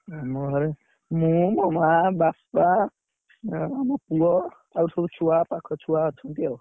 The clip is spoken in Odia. ଓହୋ ଅହ ଆ~ ତମ, ତମ ଘରେ କିଏ କିଏ ଅଛନ୍ତି?